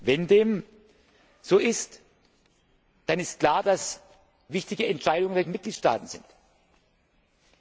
Wenn dem so ist, dann ist klar, dass wichtige Entscheidungen bei den Mitgliedstaaten liegen.